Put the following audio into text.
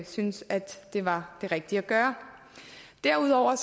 synes at det var det rigtige at gøre derudover